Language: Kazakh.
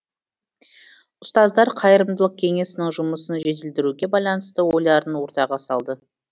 ұстаздар қайырымдылық кеңесінің жұмысын жетілдіруге байланысты ойларын ортаға салды